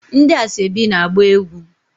Ndi asoebi na-agba egwu